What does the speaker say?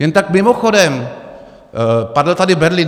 Jen tak mimochodem, padl tady Berlín.